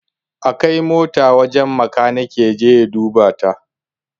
A kai motan wajen makaniki ya je ya duba ta!